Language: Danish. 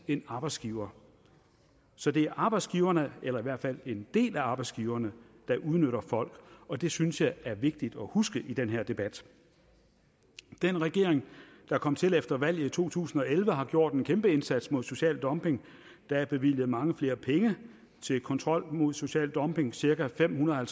en arbejdsgiver så det er arbejdsgiverne eller i hvert fald en del af arbejdsgiverne der udnytter folk og det synes jeg er vigtigt at huske i den her debat den regering der kom til efter valget i to tusind og elleve har gjort en kæmpeindsats mod social dumping der er bevilget mange flere penge til kontrol mod social dumping cirka fem hundrede